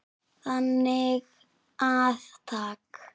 Þannig að takk.